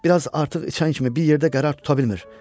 Bir az artıq içən kimi bir yerdə qərar tuta bilmir.